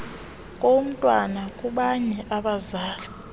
komntwana kubanye abazali